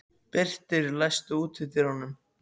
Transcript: Birtir, læstu útidyrunum.